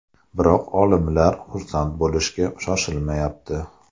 Biroq olimlar xursand bo‘lishga shoshilmayapti.